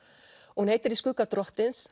hún heitir í skugga drottins